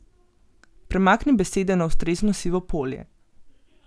Premakni besede na ustrezno sivo polje.